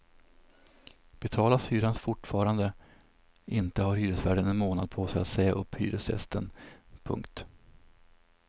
Betalas hyran fortfarande inte har hyresvärden en månad på sig att säga upp hyresgästen. punkt